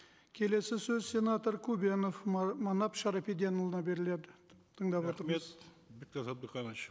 келесі сөз сенатор көбенов манап шарапиденұлына беріледі тыңдап отырмыз рахмет бектас абдыханович